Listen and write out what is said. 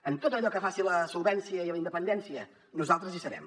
en tot allò que faci a la solvència i a la independència nosaltres hi serem